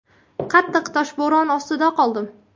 Qattiq toshbo‘ron ostida qoldim.